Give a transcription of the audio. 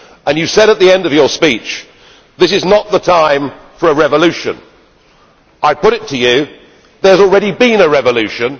You said at the end of your speech that this is not the time for a revolution. I put it to you that there has already been a revolution.